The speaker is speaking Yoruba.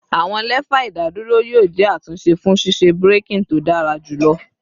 Awọn lefa idaduro yoo jẹ atunṣe fun ṣiṣe braking to dara julọ